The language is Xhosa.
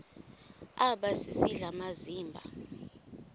aba sisidl amazimba